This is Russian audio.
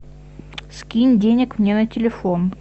скинь денег мне на телефон